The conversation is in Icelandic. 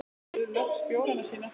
Þau suðu loks bjórana sína.